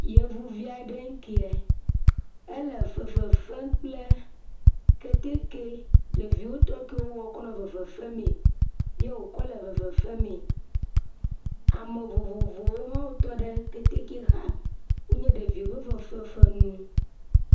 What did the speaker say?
yevivi aɖe ŋkie éle fefefem kple kɛtɛkɛ ɖeviwo tɔ kiwo kɔ nɔ fefefemee ye wò kɔ le fefefemee ame vovovowo hã tɔɖe kɛtɛkɛ xa wónye fefefenuwo